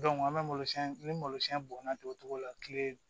an bɛ malosi ni malosiɲɛ bɔnna togo la kile